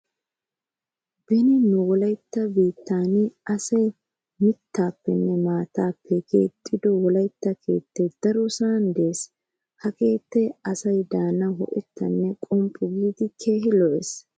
Beni nu wolaytta biittan aaay mittaappenne maataappe keexxido wolaytta keettay darosan de'ees. Ha keettay asay de'anawu ho'ettaa qomppu giidi keehi lo'ees.